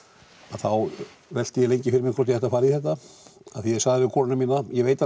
þá velti ég lengi fyrir mér hvort ég ætti að fara í þetta af því ég sagði við konuna mína ég veit